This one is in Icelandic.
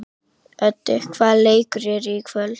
Öddi, hvaða leikir eru í kvöld?